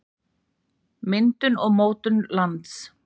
Myndun og mótun lands.